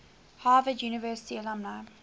harvard university alumni